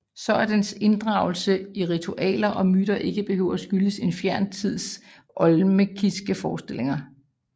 Så at dens inddragelse i ritualer og myter ikke behøver at skyldes en fjern tids olmekiske forestillinger